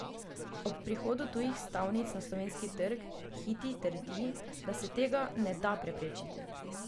O prihodu tujih stavnic na slovenski trg Hiti trdi, da se tega ne da preprečiti.